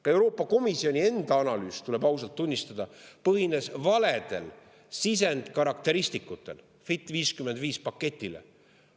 " Ka Euroopa Komisjoni enda analüüs, tuleb ausalt tunnistada, põhines valedel sisendkarakteristikutel "Fit for 55" paketile.